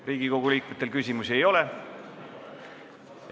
Riigikogu liikmetel küsimusi ei ole?